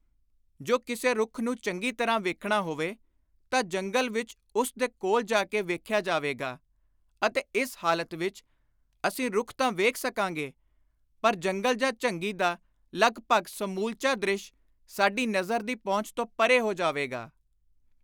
” ਜੋ ਕਿਸੇ ਰੁੱਖ ਨੂੰ ਚੰਗੀ ਤਰ੍ਹਾਂ ਵੇਖਣਾ ਹੋਵੇ ਤਾਂ ਜੰਗਲ ਵਿਚ ਉਸ ਦੇ ਕੋਲ ਜਾ ਕੇ ਵੇਖਿਆ ਜਾਵੇਗਾ ਅਤੇ ਇਸ ਹਾਲਤ ਵਿਚ ਅਸੀਂ ਰੁੱਖ ਤਾਂ ਵੇਖ ਸਕਾਂਗੇ ਪਰ ਜੰਗਲ ਜਾਂ ਝੰਗੀ ਦਾ ਲਗਭਗ ਸਮੂਲਚਾ ਦ੍ਰਿਸ਼ ਸਾਡੀ ਨਜ਼ਰ ਦੀ ਪਹੁੰਚ ਤੋਂ ਪਰੇ ਹੋ ਜਾਵੇਗਾ।